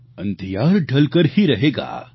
અંધિયાર ઢલકર હી રહેગા